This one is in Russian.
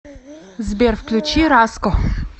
сбер включи раско